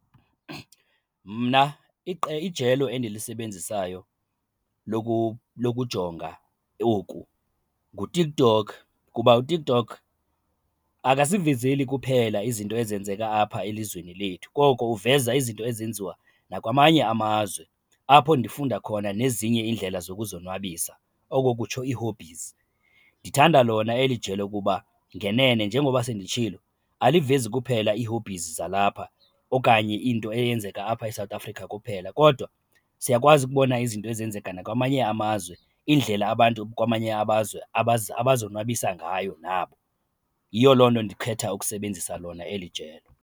Mna ijelo endilisebenzisayo lokujonga oku nguTikTok kuba uTikTok akasivezili kuphela izinto ezenzeka apha elizweni lethu koko uveza izinto ezenziwa nakwamanye amazwe apho nifunda khona nezinye iindlela zokuzonwabisa, oko kutsho ii-hobbies. Ndithanda lona eli ijelo kuba ngenene njengoba senditshilo, alivezi kuphela ii-hobbies zalapha okanye into eyenzeka apha eSouth Africa kuphela kodwa siyakwazi ukubona izinto ezenzeka nakwamanye amazwe, iindlela abantu kwamanye amazwe abazonwabisa ngayo nabo. Yiyo loo nto ndikhetha ukusebenzisa lona eli jelo.